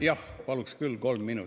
Jah, paluks küll kolm minutit.